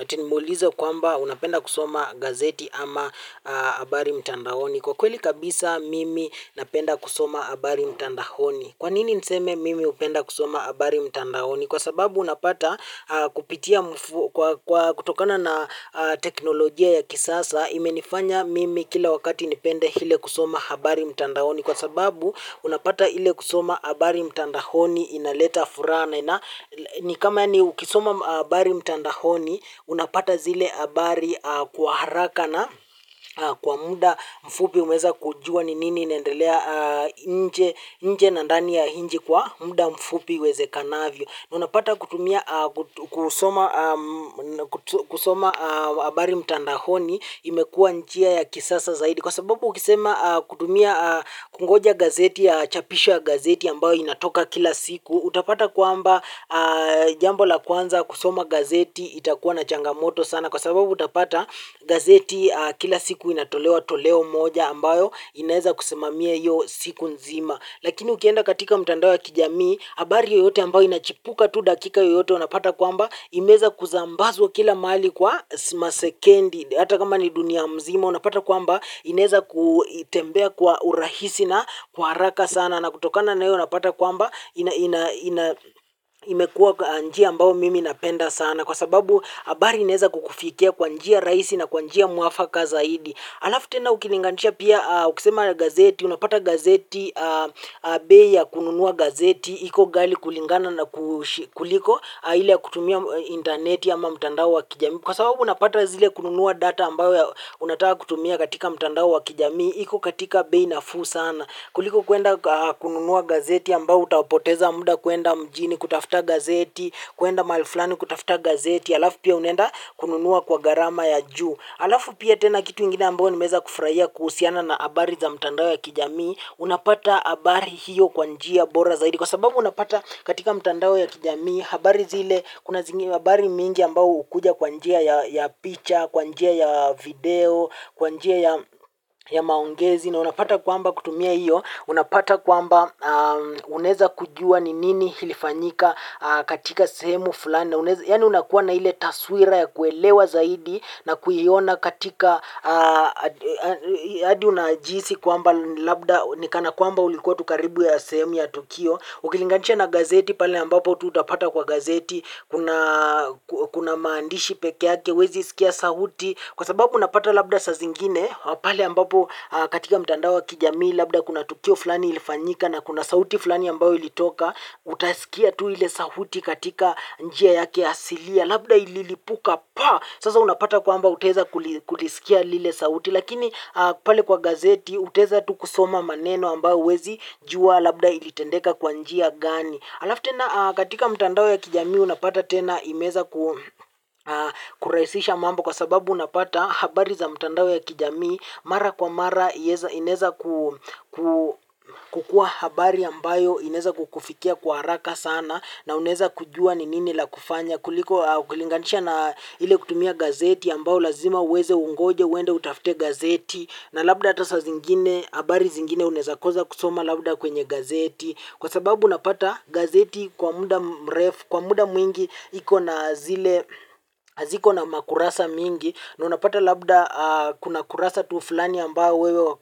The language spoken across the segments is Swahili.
Ati ni mulize kwamba unapenda kusoma gazeti ama habari mtandaoni. Kwa ukweli kabisa mimi napenda kusoma habari mtandaoni. Kwanini niseme mimi hupenda kusoma habari mtandaoni? Kwa sababu unapata kupitia kutokana na teknolojia ya kisasa imenifanya mimi kila wakati nipende ile kusoma habari mtandaoni. Kwa sababu unapata ile kusoma habari mtandaoni inaleta furaha na ni kama yani ukisoma habari mtandaoni unapata zile abari kwa haraka na kwa muda mfupi umeza kujua ni nini inendelea nje nje na ndani ya inchi kwa muda mfupi iwezekanavyo unapata kusoma. Habari mtandaoni imekua njia ya kisasa zaidi. Kwa sababu ukisema kutumia kungoja gazeti, chapisho ya gazeti ambayo inatoka kila siku. Utapata kwamba jambo la kwanza kusoma gazeti itakuwa na changamoto sana. Kwa sababu utapata gazeti kila siku inatolewa toleo moja ambayo inaeza kusimamie hiyo siku nzima. Lakini ukienda katika mtandao ya kijamii habari yoyote ambayo inachipuka tu dakika yoyote unapata kwamba imeweza kusambazwa kila mahali kwa masekendi hata kama ni dunia mzima unapata kwamba inaeza kutembea kwa urahisi na kwa haraka sana na kutokana na hiyo unapata kwamba imekua njia ambayo mimi napenda sana kwa sababu habari inaweza kukufikia kwa njia rahisi na kwa njia mwafaka zaidi alafu tena ukilinganisha pia ukisema gazeti unapata gazeti bei ya kununua gazeti iko gali kulingana na kuliko ile ya kutumia interneti ama mtandao wa kijami. Kwa sababu unapata zile kununua data ambao unataka kutumia katika mtandao wa kijamii. Iko katika bei nafuu sana. Kuliko kuenda kununua gazeti ambao utapoteza muda kuenda mjini kutafuta gazeti. Kuenda mahali flani kutafuta gazeti. Alafu pia unenda kununua kwa garama ya juu. Alafu pia tena kitu ingine ambao nimeza kufurahia kuhusiana na habari za mtandao ya kijami. Unapata habari hiyo kwa njia bora zaidi. Kwa sababu unapata katika mtandao ya kijamii. Habari zile kuna habari mingi ambao hukuja kwa njia ya picha, kwa njia ya video, kwa njia ya maongezi na unapata kwamba kutumia hiyo unapata kwamba unaweza kujua ni nini ilifanyika katika sehemu fulani. Yani unakuwa na ile taswira ya kuelewa zaidi na kuiona katika hadi unajihisi kwamba labda nikana kwamba ulikuwa tu karibu ya semu ya Tukio. Ukilinganisha na gazeti pale ambapo tu utapata kwa gazeti kuna maandishi peke yake huwezi sikia sauti kwa sababu unapata labda sa zingine pale ambapo katika mtandawa kijamii labda kuna tukio fulani ilifanyika na kuna sauti fulani ambayo ilitoka utasikia tu ile sauti katika njia yake hasilia labda ililipuka pa sasa unapata kwamba uteza kulisikia lile sauti lakini pale kwa gazeti utaweza tu kusoma maneno ambayo uwezijua labda ilitendeka kwa njia gani. Alafu tena katika mtandao ya kijamii unapata tena imeza kurahisisha mamba kwa sababu unapata habari za mtandao ya kijamii mara kwa mara inaweza kukua habari ambayo ineweza kukufikia kwa haraka sana na uneza kujua ni nini la kufanya. Kuliko kulinganisha na ile kutumia gazeti ambao lazima uweze ungoje uende utafute gazeti na labda ata saa zingine habari zingine uneza kosa kusoma labda kwenye gazeti. Kwa sababu unapata gazeti kwa muda mrefu, kwa muda mwingi iko na zile, hiziko na makurasa mingi, na unapata labda kuna kurasa tu fulani ambayo wewe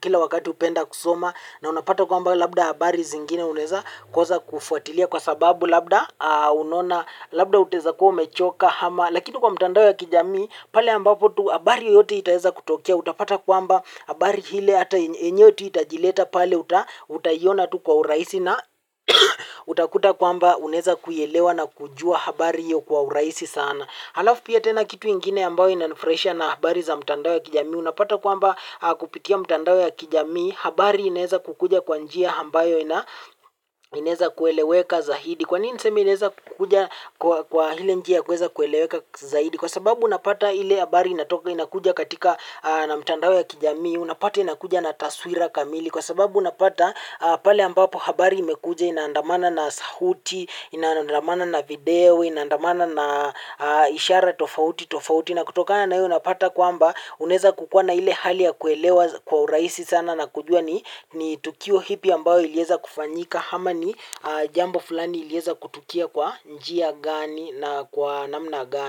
kila wakati hupenda kusoma, na unapata kwamba labda habari zingine uneweza kosa kufuatilia. Kwa sababu labda unaona labda utaweza kuo umechoka lakini kwa mtandao ya kijamii pale ambapo tu habari yoyote itaeza kutokea utapata kuamba habari hile ata enyewe itajileta pale utaiona tu kwa urahisi na utakuta kuamba uneza kuielewa na kujua habari hiyo kwa urahisi sana. Halafu pia tena kitu ingine ambayo inanifurahisha na habari za mtandao ya kijamii. Unapata kwamba kupitia mtandao ya kijamii habari inaweza kukuja kwa njia ambayo ineza kueleweka zaidi. Kwa nini niseme ineza kukuja kwa ile njia kueza kueleweka zaidi. Kwa sababu unapata ile habari inatoka inakuja katika na mtandao ya kijamii. Unapata inakuja na taswira kamili. Kwa sababu unapata pale ambapo habari imekuja inaandamana na sauti, inaandamana na video, inaandamana na ishara tofauti tofauti. Na kutoka na hiyo unapata kwamba unaweza kukuwa na ile hali ya kuelewa kwa urahisi sana na kujua ni tukio ipi ambao ilieza kufanyika. Ama ni jambo fulani ilieza kutukia kwa njia gani na kwa namna gani.